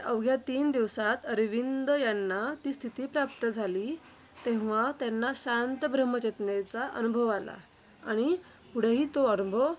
अवघ्या तीन दिवसांत श्री अरविंद यांना ती स्थिती प्राप्त झाली. तेव्हा त्यांना शांत ब्रह्म-चेतनेचा अनुभव आला. आणि पुढेही तो अनुभव